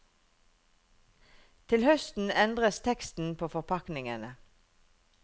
Til høsten endres teksten på forpakningene.